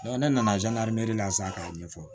ne nana san k'a ɲɛfɔ